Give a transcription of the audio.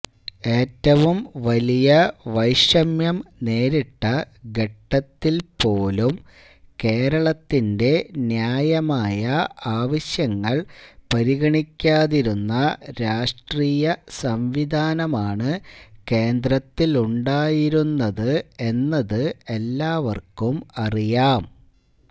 ഏറ്റവും വലിയ വൈഷമ്യം നേരിട്ട ഘട്ടത്തില്പ്പോലും കേരളത്തിന്റെ ന്യായമായ ആവശ്യങ്ങള് പരിഗണിക്കാതിരുന്ന രാഷ്ട്രീയ സംവിധാനമാണ് കേന്ദ്രത്തിലുണ്ടായിരുന്നത് എന്നത് എല്ലാവര്ക്കും അറിയാം